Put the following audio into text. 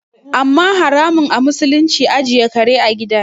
Amma haramun a musulunci ajiye kare a gida